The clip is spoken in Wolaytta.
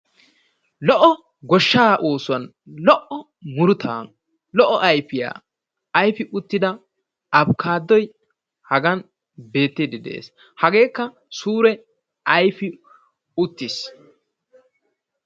Lo''o goshshaa oosuwan lo''o murutaa lo''o ayfiya ayfi uttida abikaadoy hagan beettiiddi de'ees. Hageekka suure ayfi uttiis.